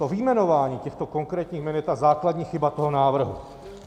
To vyjmenování těchto konkrétních jmen je ta základní chyba toho návrhu.